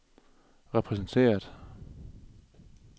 repræsenteret